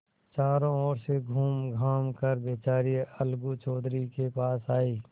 चारों ओर से घूमघाम कर बेचारी अलगू चौधरी के पास आयी